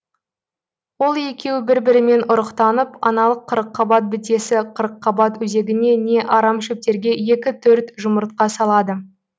ол екеуі бір бірімен ұрықтанып аналық қырыққабат бітесі қырыққабат өзегіне не арамшөптерге екі төрт жұмыртқа салады